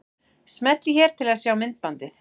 Smellið hér til að sjá myndbandið.